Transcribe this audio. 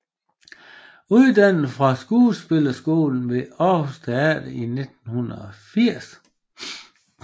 Uddannet fra Skuespillerskolen ved Aarhus Teater i 1980